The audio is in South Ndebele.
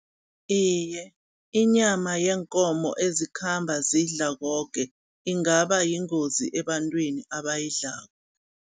Iye, inyama yeenkomo ezikhamba zidla koke, ingaba yingozi ebantwini abayidlko.